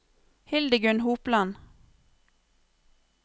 Hildegunn Hopland